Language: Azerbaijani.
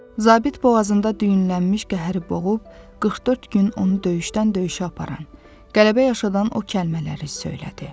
Zabit boğazında düyünlənmiş qəhəri boğub 44 gün onu döyüşdən-döyüşə aparan qələbə yaşadan o kəlmələri söylədi: